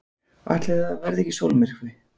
Ætli það verði ekki sólmyrkvi!